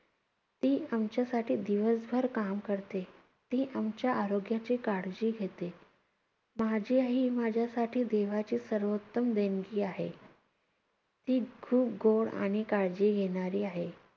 ती आमच्यासाठी दिवसभर काम करते. ती आमच्या आरोग्याची काळजी घेते. माझी आई ही माझ्यासाठी देवाची सर्वोत्तम देणगी आहे. ती खूप गोड आणि काळजी घेणारी आहे.